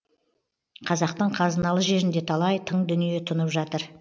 қазақтың қазыналы жерінде талай тың дүние тұнып жатыр